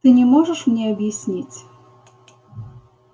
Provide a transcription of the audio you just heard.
ты не можешь мне объяснить